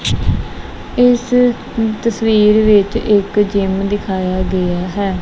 ਇਸ ਤਸਵੀਰ ਵਿੱਚ ਇੱਕ ਜਿਮ ਦਿਖਾਯਾ ਗਿਆ ਹੈ।